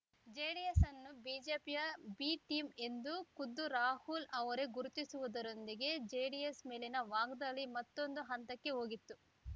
JDS ಅನ್ನು ಬಿಜೆಪಿಯ B team ಎಂದು ಖುದ್ದು ರಾಹುಲ್‌ ಅವರೇ ಗುರುತಿಸುವುದರೊಂದಿಗೆ ಜೆಡಿಎಸ್‌ ಮೇಲಿನ ವಾಗ್ದಾಳಿ ಮತ್ತೊಂದು ಹಂತಕ್ಕೆ ಹೋಗಿತ್ತು